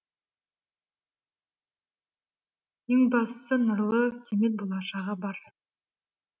ең бастысы нұрлы кемел болашағы бар